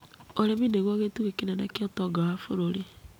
Ũrĩmi nĩguo gĩtugĩ kĩnene kĩa ũtonga wa bũrũri.